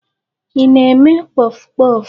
Ị na-eme kpọfụ kpọfụ?